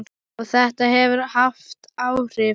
Og þetta hefur haft áhrif.